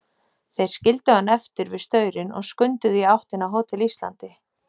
Þeir skildu hann eftir við staurinn og skunduðu í áttina að Hótel Íslandi.